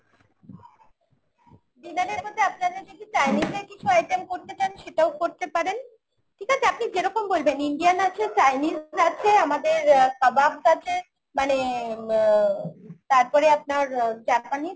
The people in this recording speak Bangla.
dinner এর মধ্যে আপনারা যদি Chinese এর কিছু item করতে চান সেটাও করতে পারেন। ঠিক আছে আপনি যেরকম বলবেন Indian আছে, Chinese আছে আমাদের আহ kebabs আছে মানে উম তারপরে আপনার Japanese